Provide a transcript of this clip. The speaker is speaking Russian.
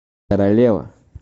королева